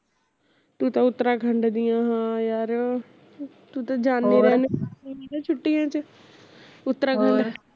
ਤੂੰ ਤਾ ਉਤਰਾਖੰਡ ਦੀ ਆ ਹਾਂ ਯਾਰ ਤੂੰ ਤਾਂ ਜਾਂਦੀ ਰਹਿੰਦੀ ਐ ਛੁੱਟੀਆ ਚ ਉੱਤਰਾਖੰਡ